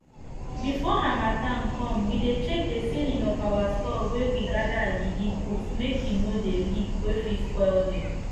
before harmattan come we dey check the ceiling of our store wey we gather agidi put make e no dey leak wey fit spoil dem